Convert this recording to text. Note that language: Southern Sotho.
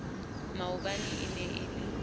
maobane e ne e le